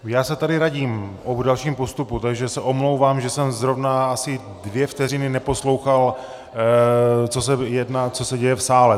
Já se tady radím o dalším postupu, takže se omlouvám, že jsem zrovna asi dvě vteřiny neposlouchal, co se děje v sále.